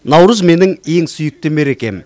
наурыз менің ең сүйікті мерекем